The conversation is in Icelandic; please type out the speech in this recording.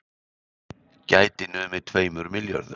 Gæti numið tveimur milljörðum